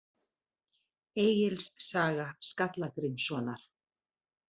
Egils saga Skalla-Grímssonar.